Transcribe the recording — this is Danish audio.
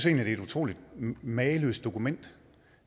er et utrolig mageløst dokument